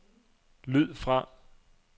lyd fra